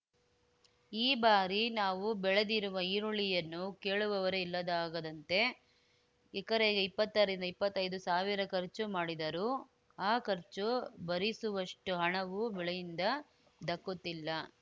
ಈ ಬಾರಿ ನಾವು ಬೆಳೆದಿರುವ ಈರುಳ್ಳಿಯನ್ನು ಕೇಳುವವರೇ ಇಲ್ಲದಾಗದಂತೆ ಎಕರೆಗೆ ಇಪ್ಪತ್ತರಿಂದ ಇಪ್ಪತ್ತೈದು ಸಾವಿರ ಖರ್ಚು ಮಾಡಿದರೂ ಆ ಖರ್ಚು ಭರಿಸುವಷ್ಟುಹಣವೂ ಬೆಳೆಯಿಂದ ದಕ್ಕುತ್ತಿಲ್ಲ